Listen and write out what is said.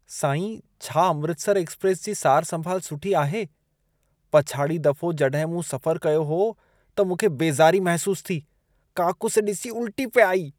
साईं, छा अमृतसर एक्सप्रेस जी सार संभाल सुठी आहे? पछाड़ी दफ़ो जॾहिं मूं सफ़र कयो हो त मूंखे बेज़ारी महसूसु थी। काकूस ॾिसी उल्टी पे आई।